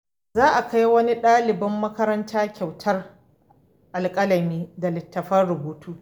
Za a kai wa daliban makaranta kyautar alƙalami da littattafan rubutu.